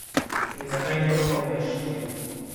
In zakaj ne novomeški?